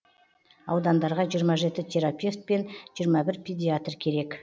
аудандарға жиырма жеті терапевт пен жиырма бір педиатр керек